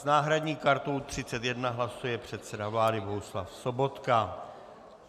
S náhradní kartou 31 hlasuje předseda vlády Bohuslav Sobotka.